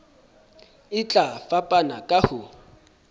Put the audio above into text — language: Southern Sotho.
e tla fapana ka ho